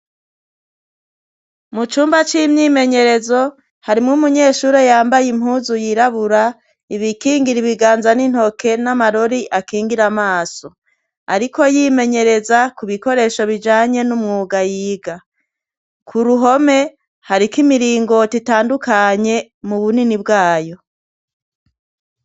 Mu cumba c'imyimenyerezo, harimwo umunyeshuri yambaye impuzu yirabura, ibikingira ibiganza n'intoke, n'amarori akingira amaso. Ariko yimenyereza ku bikoresho bijanye n'umwuga yiga. K'uruhome, hariko imirongo itandukanye mu bunini bwayo.